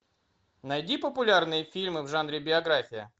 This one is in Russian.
найди популярные фильмы в жанре биография